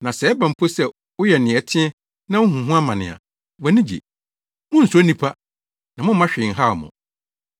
Na sɛ ɛba mpo sɛ woyɛ nea ɛteɛ na wuhu ho amane a, wʼani gye. Munnsuro nnipa, na mommma hwee nhaw mo.